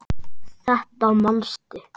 Þetta manstu.